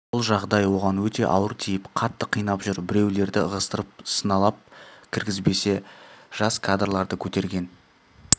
бұл жағдай оған өте ауыр тиіп қатты қинап жүр біреулерді ығыстырып сыналап кіргізбесе жас кадрларды көтерген